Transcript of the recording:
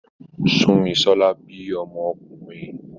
Súnmisọ́lá bí ọmọ ọkùnrin